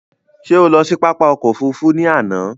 Ṣé o lọ sí pápá ọkò òfurufú ni àná?